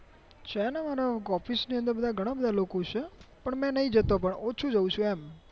છે ને મારા officeન ની અંદર ઘણા બધા લોકો છે પણ મેં નહિ જતો પણ ઓછુ જાઉં છું એમ